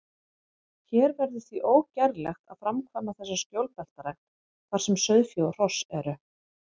Hér verður því ógerlegt að framkvæma þessa skjólbeltarækt, þar sem sauðfé og hross eru.